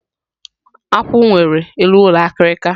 Akwu nwere eluulọ akịrịka